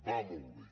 va molt bé